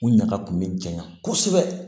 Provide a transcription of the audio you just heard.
U ɲaga kun bɛ janya kosɛbɛ